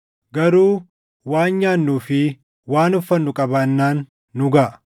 Garuu waan nyaannuu fi waan uffannu qabaannaan nu gaʼa.